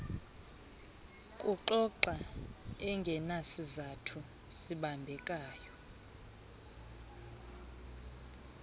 kuxoxa engenasizathu sibambekayo